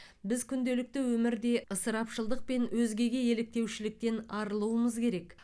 біз күнделікті өмірде ысырапшылдықпен өзгеге еліктеушіліктен арылуымыз керек